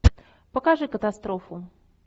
покажи катастрофу